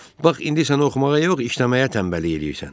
Bax indi sən oxumağa yox, işləməyə tənbəllik eləyirsən.